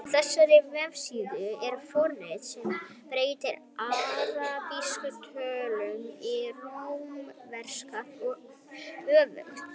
Á þessari vefsíðu er forrit sem breytir arabískum tölum í rómverskar og öfugt.